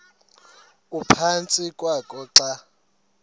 ephantsi kwakho xa